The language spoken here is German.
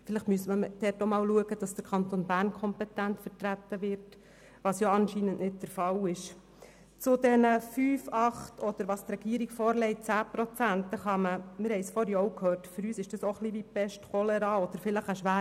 Wenn wir offenbar so kompetente Leute haben, müsste man sich vielleicht einmal darum bemühen, den Kanton Bern in der SKOS kompetent zu vertreten.